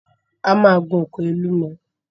A máa gun òkè Olúmọ!